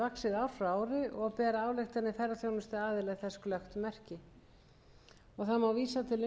glöggt merki það má vísa til þó nokkurra umsagna sem